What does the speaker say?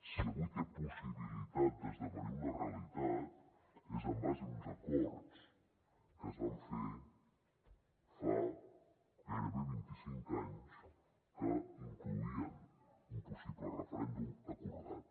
si avui té possibilitat d’esdevenir una realitat és en base a uns acords que es van fer fa gairebé vint i cinc anys que incloïen un possible referèndum acordat